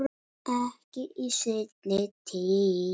Ekki í seinni tíð.